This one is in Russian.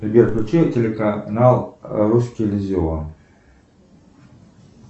сбер включи телеканал русский иллюзион